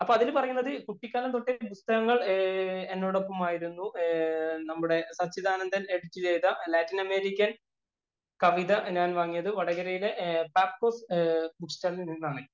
അപ്പോള്‍ അതില്‍ പറയുനത് പുസ്തകങ്ങള്‍ എന്നോടൊപ്പമായിരുന്നു. നമ്മുടെ സച്ചിദാനന്ദന്‍ എഡിറ്റ് ചെയ്ത ലാറ്റിന്‍ അമേരിക്കന്‍ കവിത ഞാന്‍ വാങ്ങിയത് വടകരയിലെ ബാക്ക് ഓഫ് ബുക്ക് സ്റ്റാളില്‍ നിന്നാണേ.